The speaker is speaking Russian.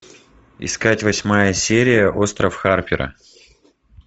искать восьмая серия остров харпера